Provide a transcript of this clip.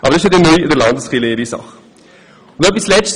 Doch die Aufteilung des Geldes wird neu Sache der Landeskirchen sein.